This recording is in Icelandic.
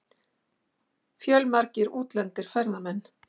Fjölmargir útlendir ferðamenn